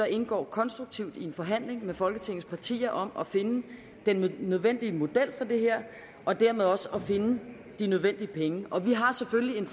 indgå konstruktivt i en forhandling med folketingets partier om at finde den nødvendige model for det her og dermed også at finde de nødvendige penge og vi har selvfølgelig